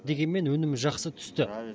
дегенмен өнім жақсы түсті